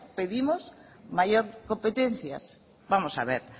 pedimos mayor competencia vamos a ver